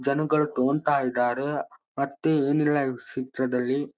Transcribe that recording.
ಜನಗಳು ತೊಕೊಂತ್ತಾ ಇದ್ದಾರೆ ಮತ್ತೆ ಏನ್ ಇಲ್ಲಾ ಈವ್ ಕ್ಷೇತ್ರದಲ್ಲಿ.